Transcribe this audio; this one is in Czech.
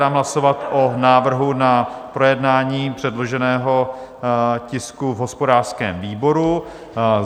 Dám hlasovat o návrhu na projednání předloženého tisku v hospodářském výboru.